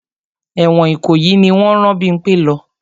Ẹ̀wọ̀n Ìkòyí ni wọ́n rán Bímpẹ́ lọ.